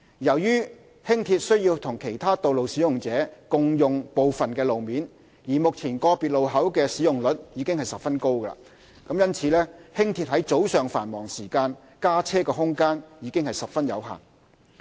由於輕鐵須與其他道路使用者共用部分路面，而目前個別路口的使用率已十分高，因此，輕鐵於早上繁忙時間加車的空間已十分有限。